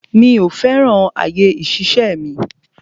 Mi ò fẹ́ràn àyè ìṣiṣẹ́ mi.